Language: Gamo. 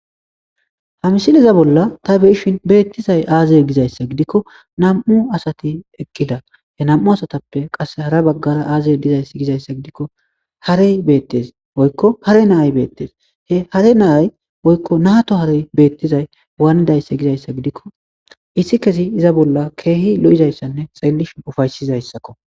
Ha misil iza bolla ta beishin beettizay aazeye gizayssa gidikko nam7u asati eqqila he nam7u asatappe qasse hara baggara aazey dizays gizayssa gidikko harey beettes woykko hare nay beettes he hare naay woykko naato harey beettizay waanidayssa gizayssa gidikko issi kesi iza bolla keehi lo7izayssanne xeelishi ufaysizayssakko.